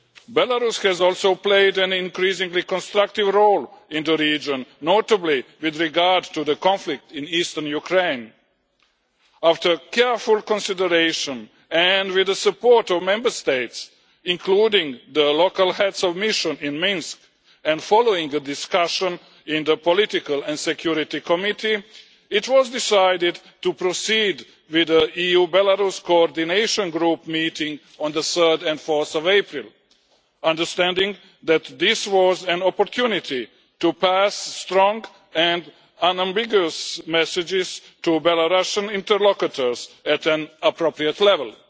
Belarus has also played an increasingly constructive role in the region, notably with regard to the conflict in eastern Ukraine. After careful consideration, and with the support of Member States, including the local heads of mission in Minsk, and following the discussion in the political and security committee, it was decided to proceed with an EU Belarus Coordination Group meeting on 3 and 4 April, understanding that this was an opportunity to pass strong and unambiguous messages to Belarussian interlocutors at an appropriate level.